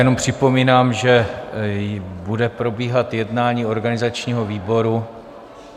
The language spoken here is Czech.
Jenom připomínám, že bude probíhat jednání organizačního výboru.